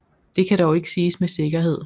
Det kan dog ikke siges med sikkerhed